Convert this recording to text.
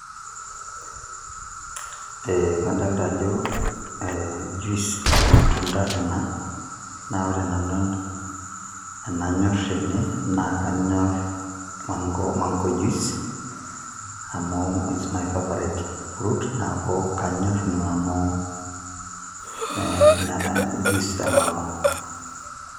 Kadolta ajo juice ormatunda ena, na ore nanu enanyor tene, naa kanyor mango juice, amu is my favourite fruit, neeku kanyor nanu juice e mango.